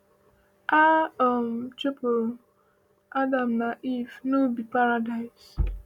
A um chụpụrụ Adam na Iv n’ubi paradaịs.